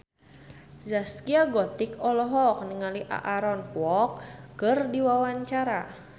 Zaskia Gotik olohok ningali Aaron Kwok keur diwawancara